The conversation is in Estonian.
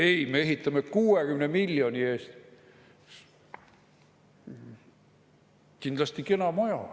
Ei, me ehitame 60 miljoni eest kindlasti kena maja.